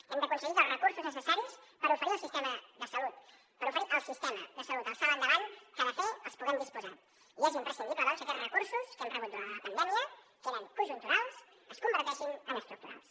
hem d’aconseguir els recursos necessaris per oferir al sistema de salut el salt endavant que ha de fer que en puguem disposar i és imprescindible doncs que aquests recursos que hem rebut durant la pandèmia que eren conjunturals es converteixin en estructurals